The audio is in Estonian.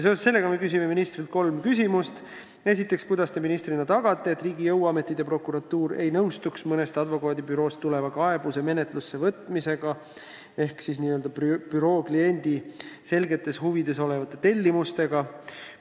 Seoses sellega me küsime ministrilt kolm küsimust: "Kuidas Te ministrina tagate, et riigi jõuametid ja prokuratuur ei nõustuks mõnest advokaadibüroost tuleva kaebuse menetlusse võtmisega ehk selle büroo kliendi selgetes huvides oleva "tellimusega"?